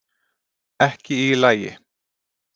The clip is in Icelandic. Ekki í lagi